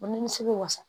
O nimisi bɛ wasa